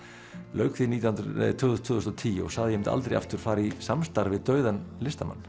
lauk því tvö þúsund tvö þúsund og tíu og sagði að ég mundi aldrei aftur fara í samstarf við dauðan listamann